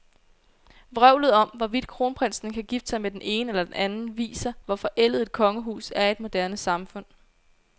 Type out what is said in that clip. Vrøvlet om, hvorvidt kronprinsen kan gifte sig med den ene eller den anden, viser, hvor forældet et kongehus er i et moderne samfund.